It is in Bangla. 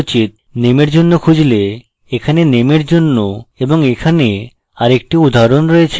name এর জন্য খুঁজলেএখানে name এর জন্য এবং এখানে আরেকটি উদাহরণ রয়েছে